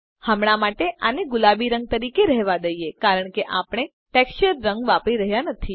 હમણાં માટે આને ગુલાબી રંગ તરીકે રહેવા દઈએ કારણ કે આપણે ટેક્સચર રંગ વાપરી રહ્યા નથી